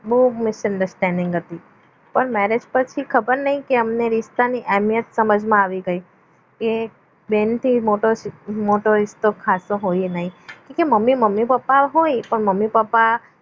બો miss understanding હતી પણ ખબર નહીં કે અમને રીસ્તાની અહેમિયત સમજમાં આવી ગઈ કે બેનથી મોટો રિશ્તો ખાશો હોય નહીં કે મમ્મી મમ્મી પપ્પા હોય મમ્મી પપ્પા